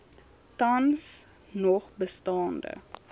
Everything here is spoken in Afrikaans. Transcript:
tans nog bestaande